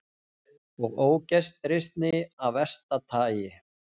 Og ógestrisni af versta tagi.